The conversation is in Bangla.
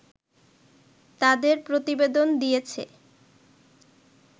তাদের প্রতিবেদন দিয়েছে